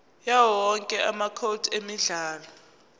yawowonke amacode emidlalo